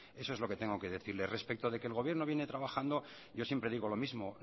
eso es lo que tengo que decirle respecto de que el gobierno viene trabajando yo siempre digo lo mismo